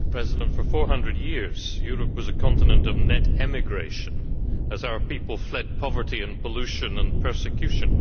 Madam President, for 400 years, Europe was a continent of net emigration as our people fled poverty and pollution and persecution.